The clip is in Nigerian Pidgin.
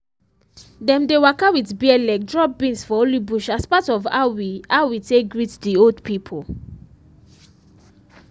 dem dey waka with bare leg drop beans for holy bush as part of how we how we take greet the old people.